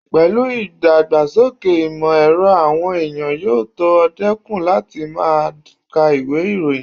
Pẹ̀lú ìdàgbàsókè ìmọ̀ ẹ̀rọ, àwọn èèyàn yóò tó dẹ́kun láti máa ka ìwé ìròyìn